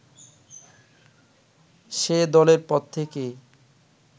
সে-দলের প্রত্যেকেই